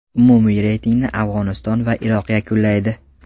Umumiy reytingni Afg‘oniston va Iroq yakunlaydi.